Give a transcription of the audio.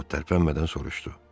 Ovod tərpənmədən soruşdu.